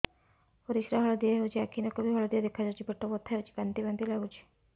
ପରିସ୍ରା ହଳଦିଆ ହେଉଛି ଆଖି ନଖ ବି ହଳଦିଆ ଦେଖାଯାଉଛି ପେଟ ବଥା ହେଉଛି ବାନ୍ତି ବାନ୍ତି ଲାଗୁଛି